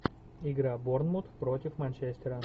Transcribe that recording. игра борнмут против манчестера